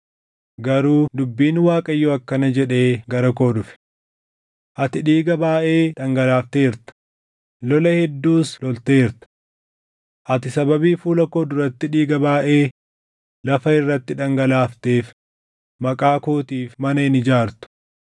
Garuu dubbiin Waaqayyoo akkana jedhee gara koo dhufe: ‘Ati dhiiga baayʼee dhangalaafteerta; lola hedduus lolteerta. Ati sababii fuula koo duratti dhiiga baayʼee lafa irratti dhangalaafteef Maqaa kootiif mana hin ijaartu.